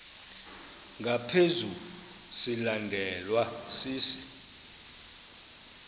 ngaphezu silandelwa sisi